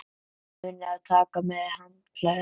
Munið að taka með handklæði!